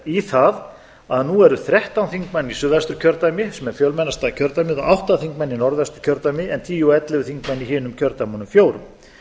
í það að nú eru þrettán þingmenn í suðvesturkjördæmi sem er fjölmennasta kjördæmið en átta þingmenn í norðvesturkjördæmi en tíu og ellefu þingmenn í hinum kjördæmunum fjórum